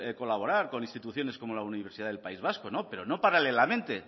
colaborar con instituciones como la universidad del país vasco no pero no paralelamente